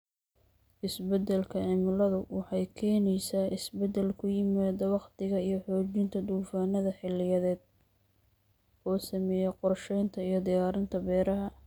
Isbeddelka cimiladu waxay keenaysaa isbeddel ku yimaada waqtiga iyo xoojinta duufaannada xilliyeed, oo saameeya qorshaynta iyo diyaarinta beeraha.